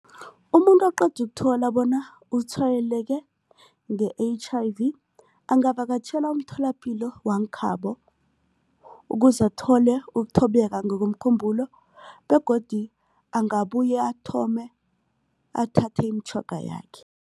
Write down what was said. Umuntu oqeda ukuthola bona utshwayeleke nge-H_I_V angavakatjhela umtholapilo wangekhabo ukuze athole ukuthobeka ngokomkhumbulo begodu angabuye athome athathe imitjhoga yakhe.